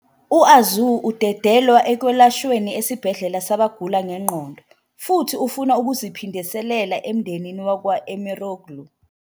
U-Arzu udedelwa ekwelashweni esibhedlela sabagula ngengqondo futhi ufuna ukuziphindiselela emndenini wakwa-Emiroğlu.